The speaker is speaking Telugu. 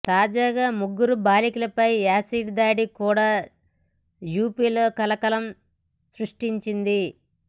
తాజాగా ముగ్గురు బాలికలపై యాసిడ్ దాడి కూడా యూపీలో కలకలం సృష్టించింది